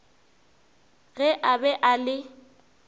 ge a be a le